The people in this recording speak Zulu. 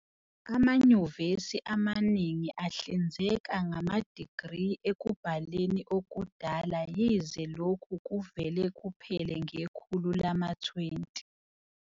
Amanyuvesi amaningi ahlinzeka ngama-degree ekubhaleni okudala yize lokhu kuvele kuphela ngekhulu lama-20.